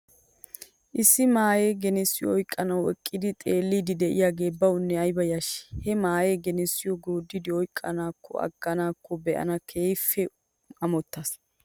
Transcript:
Issi maahee genessiyoo oyqqanaw eqqidi xeeliiddi de'iyaagee bawnne ayba yashshii. He maahee genessiyoo gooddidi oyqqiyaakonne aggiyaakkone be'anaw keehippe amottas .